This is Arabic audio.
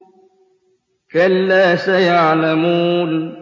كَلَّا سَيَعْلَمُونَ